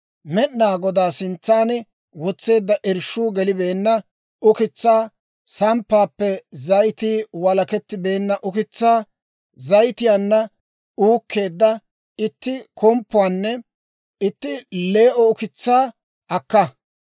Med'inaa Godaa sintsan wotseedda irshshuu gelibeenna ukitsaa, samppaappe zayitii walakettibeenna ukitsaa, zayitiyaanna uukkeedda itti komppuwaanne itti lee"o ukitsaa akka.